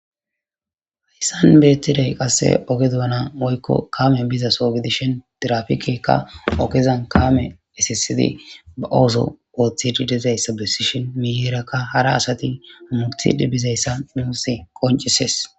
Hayssan beettiday qasse oge donana woykko kaame biza soogedishin dirafikekka ogezan kaame esisidi ba ooso ooththididizay sabesishin miiyeerakka hara asati murti dhi bizayssa nuusi qoncises.